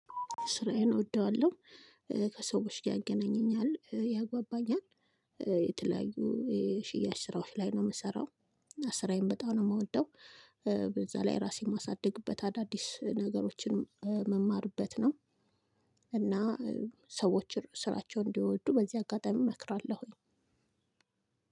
ስራዬን እወደዋለሁ ከሰዎች ያገናኘኛል ያግባባኛል የተለያዩ የሽያጭ ስራዎች ላይ ነው ምሰራው። ስራዬን በጣም ነው የምወደው። በዛ ላይ ራሴን ማሳድግበት አዳዲስ ነገሮችን ምማርበት ነው። እና ሰዎችን ስራቸውን እንዲወዱ በዚህ አጋጣሚ እመክራለሁኝ።